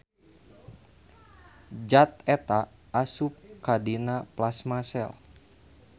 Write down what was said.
Zat eta asup ka dina plasma sel.